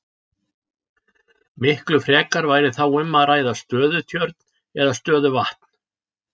Miklu frekar væri þá um að ræða stöðutjörn eða stöðuvatn.